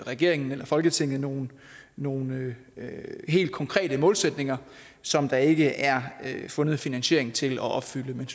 regeringen eller folketinget nogle nogle helt konkrete målsætninger som der ikke er fundet finansiering til at opfylde men